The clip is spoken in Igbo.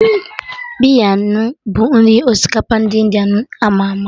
Biryani bụ nri osikapa ndị India ama ama